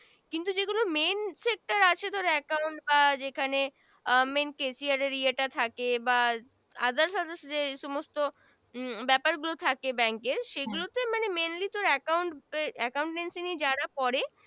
ধরো এক কারন আহ যেখানে আহ Main Caesar ইয়া টা থাকে বা Other Other সমস্ত উম ব্যপার গুলো থাকে Bank এর সেগুলোতে Mainly তোর Account Accountsley যারা করে